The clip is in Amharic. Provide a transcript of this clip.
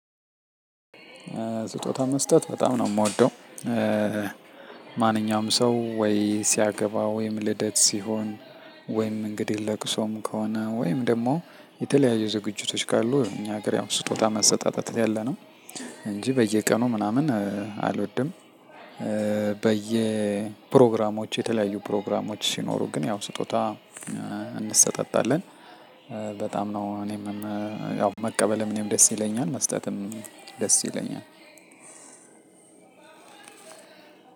ስጦታ መስጠት በጣም ነው የምወደው። ማንኛውም ሰው ወይ ሲያገባ ወይም ልደት ሲሆን ወይም እንግዲህ ለቅሶም ከሆነ ወይም ደግሞ የተለያዩ ዝግጅቶች ካሉ እኛ ሀገር ያው ስጦታ መሰጣጣት ያለነው እንጂ በየቀኑ ምናምን አልወድም። በየ ፕሮግራሞች የተለያዩ ፕሮግራሞች ሲኖሩ ግን ያው ስጦታ እንሰጣጣለን። በጣም ነው እኔም አዎ መቀበልም እኔም ደስ ይለኛል መስጠትም ደስ ይለኛል።